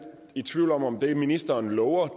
i tvivl om om det ministeren lover